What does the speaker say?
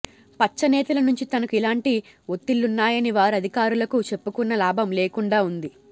పచ్చ నేతల నుంచి తనకు ఇలాంటి ఒత్తిళ్లున్నాయని వారు అధికారులకు చెప్పుకున్నా లాభం లేకుండా ఉంది